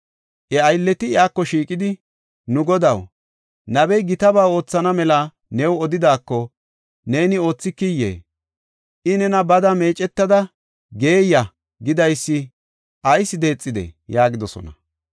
Iya aylleti iyako shiiqidi, “Nu Godaw, nabey gitaba oothana mela new odidaako, neeni oothikiyee? I nena, ‘Bada meecetada geeyiya’ gidaysi ayis deexidee?” yaagidosona.